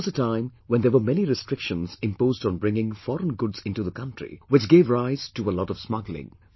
There was a time when there were many restrictions imposed on bringing foreign goods into the country which gave rise to a lot of smuggling